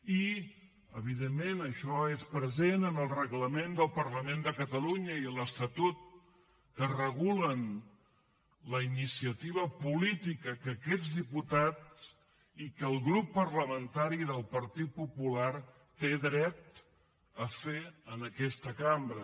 i evidentment això és present en el reglament del parlament de catalunya i l’estatut que regulen la iniciativa política que aquests diputats i que el grup parlamentari del partit popular tenen dret a fer en aquesta cambra